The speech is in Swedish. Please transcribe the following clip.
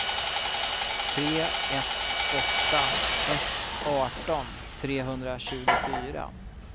tre ett åtta ett arton trehundratjugofyra